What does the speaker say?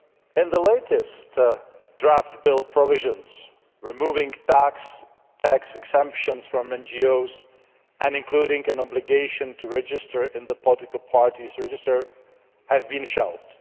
In the latest draft bill, provisions removing tax exemptions for NGOs and including an obligation to register in the political parties' register have been shelved.